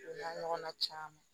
O n'a ɲɔgɔnna caman